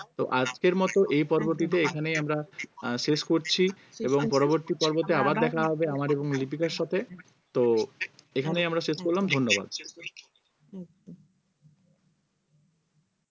তো আজকের মতো এই পর্বটিতে এখানেই আমরা আহ শেষ করছি এবং পরবর্তী পর্বতে আবার দেখা হবে আমার এবং লিপিকার সাথে তো এখানেই আমরা শেষ করলাম ধন্যবাদ।